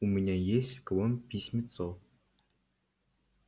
у меня есть к вам письмецо